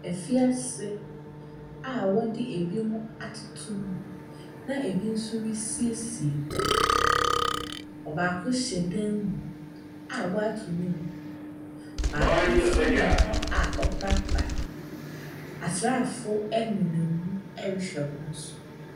Afiase a wɔde binom atoto mu na bi nso resiesie hɔ, ɔbaako hyɛ dan mu a wɔato ne mu, baako nso nam hɔ a ɛreprapra, asraafo nso nenam hɔ a wɔrehwɛ wɔn do.